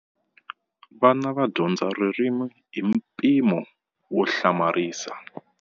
Vana va dyondza ririmi hi mpimo wo hlamarisa.